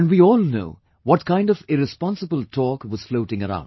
And we all know what kind of irresponsible talk was floating around